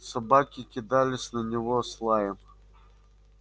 собаки кидались на него с лаем